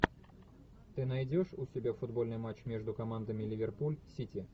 ты найдешь у себя футбольный матч между командами ливерпуль сити